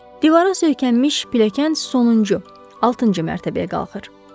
Divara söykənmiş pilləkən sonuncu, altıncı mərtəbəyə qalxır.